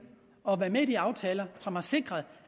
og været med i de aftaler som har sikret